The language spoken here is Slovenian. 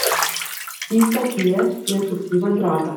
Tista, ki je, je osupljivo draga.